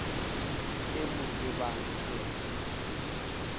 ke mo tsebang ke re